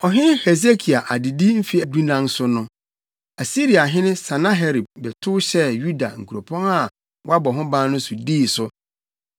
Ɔhene Hesekia adedi mfe dunan so no, Asiriahene Sanaherib bɛtow hyɛɛ Yuda nkuropɔn a wɔabɔ ho ban no so dii so.